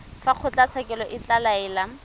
fa kgotlatshekelo e ka laela